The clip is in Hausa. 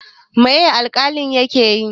Mai alƙalin ya ke yi?